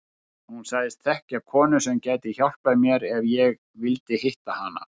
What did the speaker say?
Hún sagðist þekkja konu sem gæti hjálpað mér ef ég vildi hitta hana.